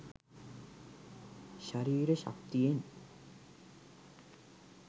ශරීර ශක්තියෙන්